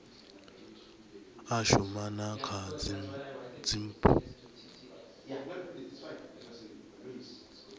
a shuma na kha dzipmb